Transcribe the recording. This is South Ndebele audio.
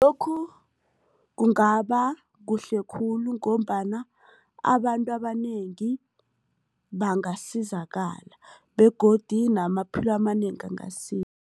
Lokhu kungaba kuhle khulu ngombana abantu abanengi bangasizakala begodu namaphilo amanengi